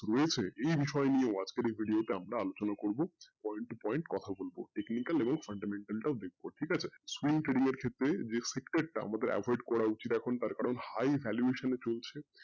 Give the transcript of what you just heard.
রয়েছে এই বিষয় নিয়ে আজকের এই video টা আমরা আলোচনা করবো point to point কোথা বলবো দেখবো ঠিক আছে? এর ক্ষেত্রে যেই sector টা আমাদের avoid করা উচিৎ তার কারন high valuation এ চলছে